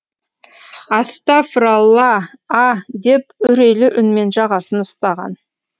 астафыралла а деп үрейлі үнмен жағасын ұстаған